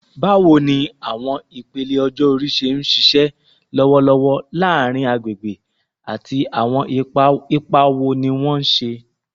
Bawo ni awọn ipele ọjọ-ori ṣe nṣiṣẹ lọwọlọwọ laarin agbegbe, ati awọn ipa wo ni wọn ṣe?